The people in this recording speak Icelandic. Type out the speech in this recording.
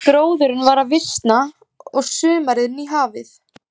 Gróðurinn var að visna og sumarið nýhafið.